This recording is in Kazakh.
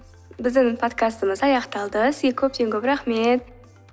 біздің подкастымыз аяқталды сізге көптен көп рахмет